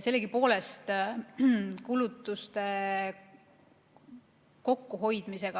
Sellegipoolest tuleb kulutuste kokkuhoidmise